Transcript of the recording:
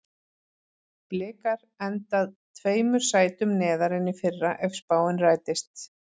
Blikar enda tveimur sætum neðar en í fyrra ef spáin rætist.